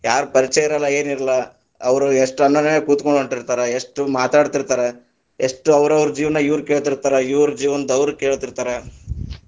ಯಾರ ಪರಿಚಯಾ ಇರಲ್ಲಾ ಏನಿರಲ್ಲಾ, ಅವ್ರ ಎಷ್ಟ ಅನ್ಯೋನ್ಯವಾಗಿ ಕೂತಗೊಂಡ ಹೊಂಟಿತಾ೯ರ ಎಷ್ಟ ಮಾತಾಡತಿರತಾರ, ಎಷ್ಟ ಅವ್ರವ್ರ ಜೀವನಾ ಇವ್ರ ಕೇಳ್ತೀತಾ೯ರ, ಇವ್ರ ಜೀವನದ ಅವ್ರ ಕೇಳ್ತೀತಾ೯ರ.